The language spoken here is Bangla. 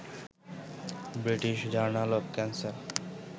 British journal of cancer